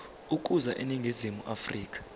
ukuza eningizimu afrika